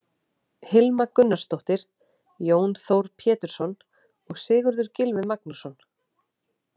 Hilma Gunnarsdóttir, Jón Þór Pétursson og Sigurður Gylfi Magnússon.